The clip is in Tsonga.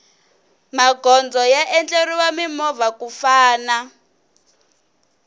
magondzo ya endleriwe mimovha ku famna